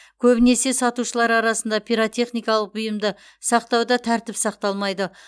көбінесе сатушылар арасында пиротехникалық бұйымды сақтауда тәртіп сақталмайды